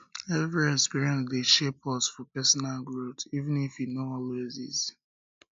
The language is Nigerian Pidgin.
every experience dey shape us for personal growth um even if e no always easy